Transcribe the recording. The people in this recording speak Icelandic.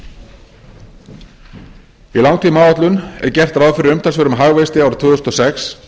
í langtímaáætlun er gert ráð fyrir umtalsverðum hagvexti árið tvö þúsund og sex